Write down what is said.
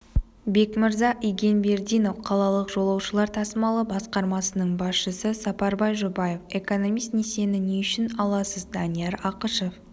бекмырза игенбердинов қалалық жолаушылар тасымалы басқармасының басшысы сапарбай жұбаев экономист несиені не үшін аласыз данияр ақышев